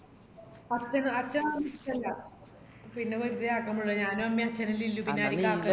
അച്ഛന് അച്ഛന് അതൊന്നും ഇഷ്ടല്ല പിന്ന വെറുതെ ആക്കാൻ പോയിട്ടില്ല ഞാനും അമ്മേം അച്ഛനല്ലേ ഇള്ളൂ പിന്നാരിക്ക